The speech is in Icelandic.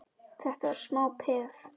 Þetta var smá peð!